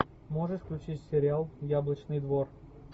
можешь включить сериал яблочный двор